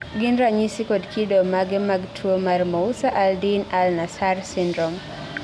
gin ranyisi kod kido mage mag tuwo mar Mousa Al din Al Nassar syndrome?